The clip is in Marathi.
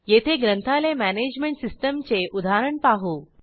येथे ग्रंथालय मॅनेजमेंट सिस्टीमचे उदाहरण पाहू